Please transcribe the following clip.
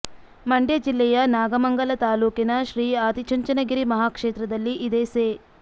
ಮಂಡ್ಯ ಜಿಲ್ಲೆಯ ನಾಗಮಂಗಲ ತಾಲ್ಲೂಕಿನ ಶ್ರೀ ಆದಿಚುಂಚನಗಿರಿ ಮಹಾಕ್ಷೇತ್ರದಲ್ಲಿ ಇದೇ ಸೆ